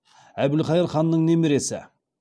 әбілқайыр ханның немересі